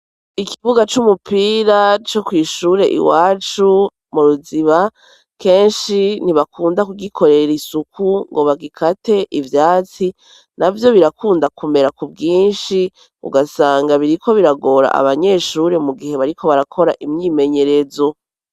Ikibuga c'umupira, co kwishure iwacu, mu Ruziba, kenshi ntibakunda kugikorera isuku, ngo bagikate ivyatsi, navyo birakunda kumera ku bwinshi, ugasanga biriko biragora abanyeshure, mu gihe bariko barakora imyimenyerezo.